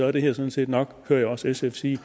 er det her sådan set nok hører jeg også sf sige